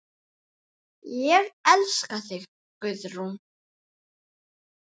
Ég elska þig, Guðrún.